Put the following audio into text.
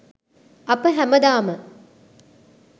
අප හැමදාම